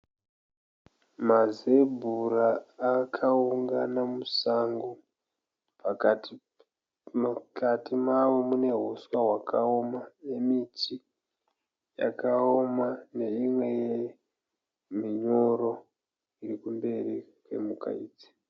Mazebhura akaungana musango. Pakati mukati mawo munehuswa hwakaoma nemiti yakaoma neimwe minyoro irikumberi kwemhuka idzi.